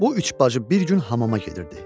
Bu üç bacı bir gün hamama gedirdi.